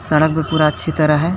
सड़क भी पूरा अच्छी तरह है।